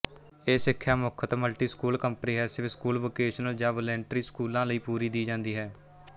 ਇਹ ਸਿੱਖਿਆ ਮੁੱਖਤ ਮਲਟੀਸਕੂਲ ਕੰਪ੍ਰੀਹੇਂਸਿਵ ਸਕੂਲ ਵੋਕੇਸ਼ਨਲ ਜਾਂ ਵੋਲੇਨਟਰੀ ਸਕੂਲਾਂ ਵਿੱਚ ਪੂਰੀ ਦੀ ਜਾਂਦੀ ਹੈ